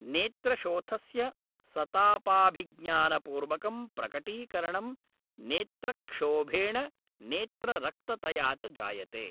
नेत्रशोथस्य सतापाभिज्ञानपूर्वकं प्रकटीकरणं नेत्रक्षोभेण नेत्ररक्ततया च जायते।